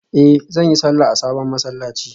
Eh zan yi sallah a sabon masallaci